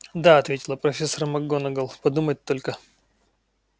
да ответила профессор макгонагалл подумать только